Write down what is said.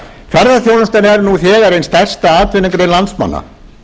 ferðaþjónustan er nú þegar ein stærsta atvinnugrein landsmanna